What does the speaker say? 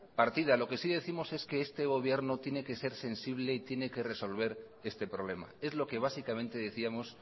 partida lo que sí décimos es que este gobierno tiene que ser sensible y tiene que resolver este problema es lo que básicamente decíamos